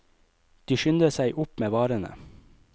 De skynder seg opp med varene.